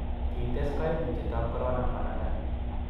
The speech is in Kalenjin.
kites kaimutietab korona banabda